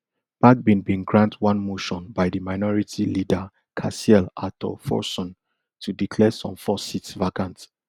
bagbin bin grant one motion by di minority leader cassiel ato forson to declare some four seats vacant